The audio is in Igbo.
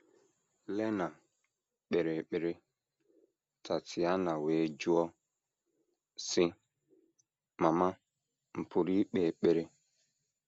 Lena kpere ekpere, Tatiana wee jụọ, sị: “ Mama, m̀ pụrụ ikpe ekpere? ”